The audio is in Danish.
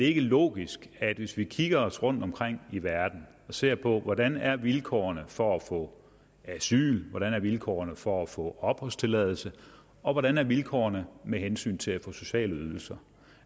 ikke logisk hvis vi kigger os om i verden og ser på hvordan vilkårene er for at få asyl hvordan vilkårene er for at få opholdstilladelse og hvordan vilkårene er med hensyn til at få sociale ydelser